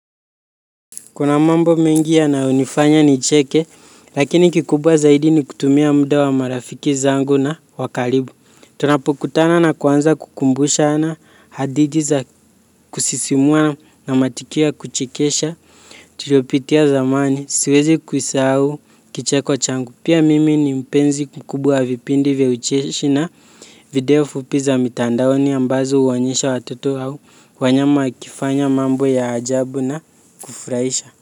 Kuna mambo mengi yanayonifanya nicheke, lakini kikubwa zaidi ni kutumia muda wa marafiki zangu na wa karibu. Tunapokutana na kuanza kukumbushana hadithi za kusisimua na matukio ya kuchekesha. Tulopitia zamani, siwezi kuisahau, kicheko changu. Pia mimi ni mpenzi kikubwa wa vipindi vya ucheshi na video fupi za mitandaoni ambazo huonyesha watoto au, wanyama wakifanya mambo ya ajabu na kufuraisha.